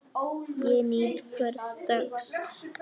Ég nýt hvers dags.